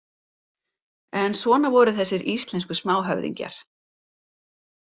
En svona voru þessir íslensku smáhöfðingjar.